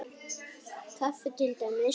Kaffi til dæmis.